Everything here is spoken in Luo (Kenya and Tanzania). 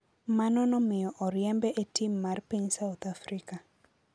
Mano nomiyo oriembe e tim mar piny South Africa.